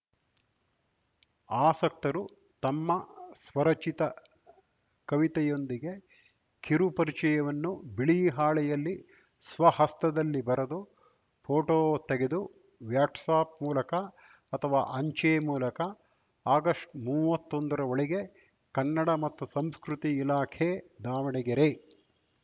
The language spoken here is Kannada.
ಆಸಕ್ತರು ತಮ್ಮ ಸ್ವರಚಿತ ಕವಿತೆಯೊಂದಿಗೆ ಕಿರು ಪರಿಚಯವನ್ನು ಬಿಳಿ ಹಾಳೆಯಲ್ಲಿ ಸ್ವ ಹಸ್ತದಲ್ಲಿ ಬರೆದು ಫೋಟೋ ತೆಗೆದು ವ್ಯಾಟ್ಸಾಪ್‌ ಮೂಲಕ ಅಥವಾ ಅಂಚೆ ಮೂಲಕ ಅಕ್ಟೊಬರ್ಮೂವತ್ತೊಂದರೊಳಗೆ ಕನ್ನಡ ಮತ್ತು ಸಂಸ್ಕೃತಿ ಇಲಾಖೆ ದಾವಣಗೆರೆ